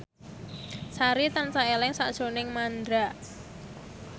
Sari tansah eling sakjroning Mandra